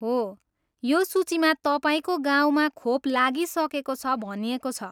हो, यो सूचीमा तपाईँको गाउँमा खोप लागिसकेको छ भनिएको छ।